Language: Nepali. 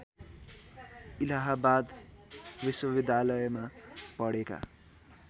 इलाहाबाद विश्वविद्यालयमा पढेका